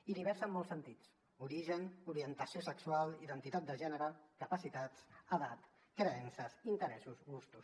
i diversa en molts sentits origen orientació sexual identitat de gènere capacitats edat creences interessos gustos